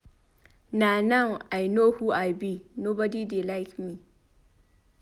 Na now I no who I be nobody dey like me.